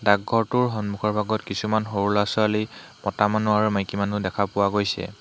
ডাকঘৰটোৰ সন্মুখৰ ভাগত কিছুমান সৰু ল'ৰা ছোৱালী মতা মানু্হ আৰু মাইকী মানু্হ দেখা পোৱা গৈছে।